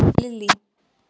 Lily